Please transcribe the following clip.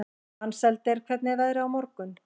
Mensalder, hvernig er veðrið á morgun?